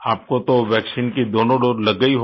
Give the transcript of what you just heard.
आपको तो वैक्सीन की दोनों दोसे लग गई होंगी